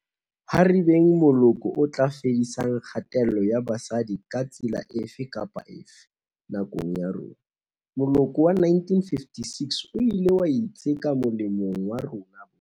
Ha re beng moloko o tla fedisang kgatello ya basadi ka tsela efe kapa efe, nakong ya rona. Moloko wa 1956 o ile wa itseka molemong wa rona bohle.